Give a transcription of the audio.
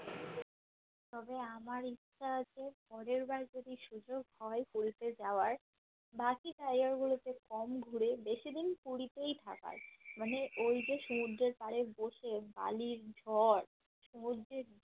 তবে আমার ইচ্ছা আছে পরের বার যদি সুযোগ হয় পুরীতে যাওয়ার বাকি জায়গা গুলোতে কম ঘুরে বেশি দিন পুরীতেই থাকার মানে ওইযে সমুদ্রের পাড়ে বসে বালির ঝড় সমুদ্রের